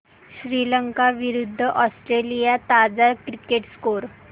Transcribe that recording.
श्रीलंका विरूद्ध ऑस्ट्रेलिया ताजा cricket score